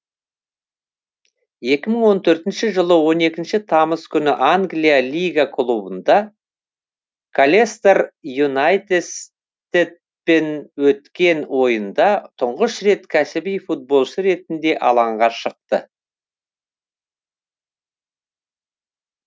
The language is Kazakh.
екі мың он төртінші жылы он екінші тамыз күні англия лига кубогында колестер юнайтедпен өткен ойында тұңғыш рет кәсіби футболшы ретінде алаңға шықты